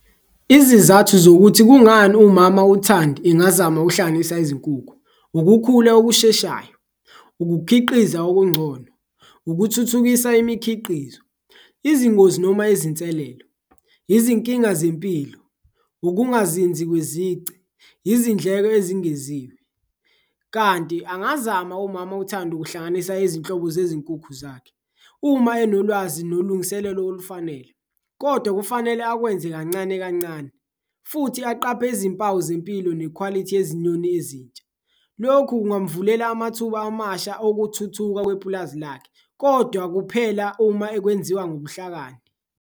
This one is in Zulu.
Izizathu zokuthi kungani umama uThandi engazama uhlanganisa izinkukhu, ukukhula okusheshayo, ukukhiqiza okungcono, ukuthuthukisa imikhiqizo, izingozi noma ezinselelo, izinkinga zempilo, ukungazinzi kwezici, izindleko ezingeziwe. Kanti angazama umama uThandi ukuhlanganisa izinhlobo zezinkukhu zakhe uma enolwazi nolungiselelo olufanele, kodwa kufanele akwenze kancane kancane futhi aqaphe izimpawu zempilo nekhwalithi yezinyoni ezintsha. Lokhu kungamvulela amathuba amasha okuthuthuka kwepulazi lakhe kodwa kuphela uma ekwenziwa ngobuhlakani.